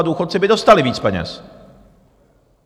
A důchodci by dostali víc peněz.